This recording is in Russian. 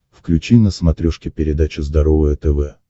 включи на смотрешке передачу здоровое тв